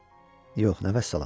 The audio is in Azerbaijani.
Yox, nə vəssalam!